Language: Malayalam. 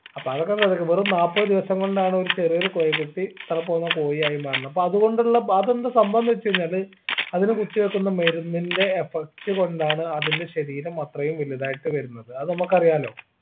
അപ്പ അതൊക്കെ വെറും നാപ്പത് ദിവസം കൊണ്ടാണ് ഒരു ചെറിയൊരു കോഴിക്കുട്ടി ഇത്ര പോന്ന കോഴി ആയി മാറുന്നെ അപ്പൊ അതുകൊണ്ടുള്ള പ അതെന്താ സംഭവംന്ന് വെച്ച് കഴിഞ്ഞാല് അതിനെ കുത്തിവെക്കുന്ന മരുന്നിന്റെ affect കൊണ്ടാണ് അതിന്റെ ശരീരം അത്രയും വലുതായിട്ട് വരുന്നത് അത് നമ്മക്കറിയാലോ